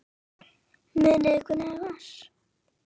Munið þið hvernig það var?